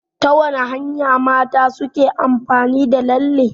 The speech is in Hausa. Ta wata hanya mata suke amfani da lalle?